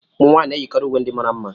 Ụmụ nwanyị na-eyikarị uwe ndị mara mma